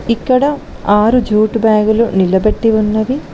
ఇక్కడ ఆరు jute bag లు నిలబెట్టి ఉన్నవి